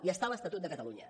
i està a l’estatut de catalunya